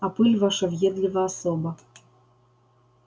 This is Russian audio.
а пыль наша въедлива особо